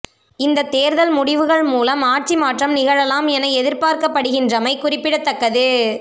இந்தத் தேர்தல் முடிவுகள் மூலம் ஆட்சி மாற்றம் நிகழலாம் என எதிர்பார்க்கப்படுகின்றமை குறிப்பிடத்தக்கது